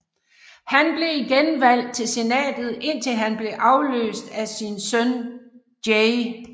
Han blev igen valgt til senatet indtil han blev adløst af sin søn J